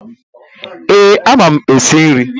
Ee, ama m esi nri.